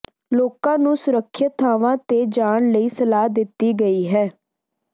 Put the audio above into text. ਲੋਕਾਂ ਨੂੰ ਸੁਰੱਖਿਅਤ ਥਾਵਾਂ ਤੇ ਜਾਣ ਲਈ ਸਲਾਹ ਦਿੱਤੀ ਗਈ ਹੈ